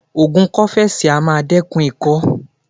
Ògùn kọ́fẹ́sì á máa dẹ́kun ikọ́.